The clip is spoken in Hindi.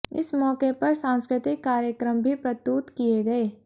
इस मौके पर सांस्कृतिक कार्यक्रम भी प्रतुत किए गए